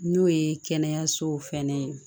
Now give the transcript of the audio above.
N'o ye kɛnɛyasow fɛnɛ ye